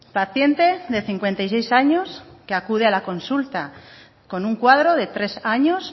paciente de cincuenta y seis años que acude a la consulta con un cuadro de tres años